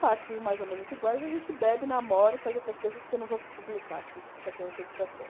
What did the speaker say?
partes mais ou menos iguais, a gente bebe, namora e faz outras coisas que eu não vou publicar aqui, que isso aqui é uma entrevista séria.